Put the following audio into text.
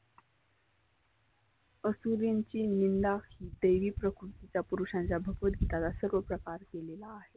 असुरींची निंदा देवी प्रकृती त्या पुरुषांच्या भगवत गिताचा सर्व प्रकार दिलेला आहे.